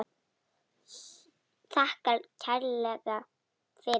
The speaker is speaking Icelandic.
Þakkar kærlega fyrir sig.